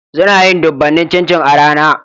Suna yin dubanin cin cin a rana